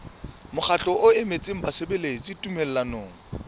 mokgatlo o emetseng basebeletsi tumellanong